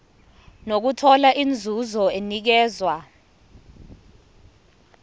nokuthola inzuzo enikezwa